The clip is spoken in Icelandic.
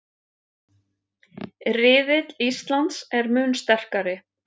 Riðill Íslands er mun sterkari